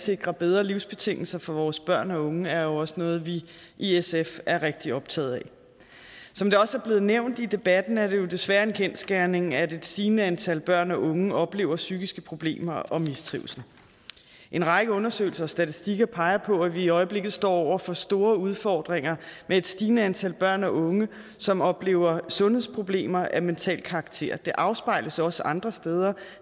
sikrer bedre livsbetingelser for vores børn og unge er jo også noget vi i sf er rigtig optaget af som det også er blevet nævnt i debatten er det jo desværre en kendsgerning at et stigende antal børn og unge oplever psykiske problemer og mistrivsel en række undersøgelser og statistikker peger på at vi i øjeblikket står over for store udfordringer med et stigende antal børn og unge som oplever sundhedsproblemer af mental karakter det afspejles også andre steder